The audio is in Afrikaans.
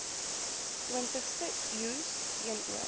twintigste eeus teenoor